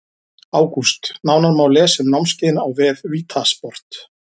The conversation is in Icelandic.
ÁGÚST Nánar má lesa um námskeiðin á vef VITA sport.